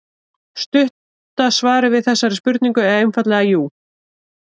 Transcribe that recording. Stutta svarið við þessari spurningu er einfaldlega jú.